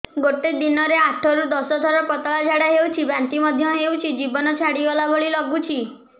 ଗୋଟେ ଦିନରେ ଆଠ ରୁ ଦଶ ଥର ପତଳା ଝାଡା ହେଉଛି ବାନ୍ତି ମଧ୍ୟ ହେଉଛି ଜୀବନ ଛାଡିଗଲା ଭଳି ଲଗୁଛି